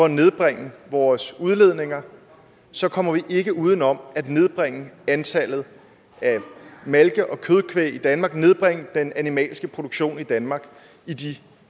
at nedbringe vores udledninger så kommer vi ikke uden om at nedbringe antallet af malke og kødkvæg i danmark nedbringe den animalske produktion i danmark